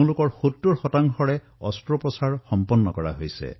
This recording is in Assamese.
ইয়াৰে ৭০ শতাংশৰ অস্ত্ৰোপচাৰ সম্পন্ন হৈছে